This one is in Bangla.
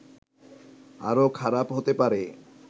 আরো খারাপ হতে পারে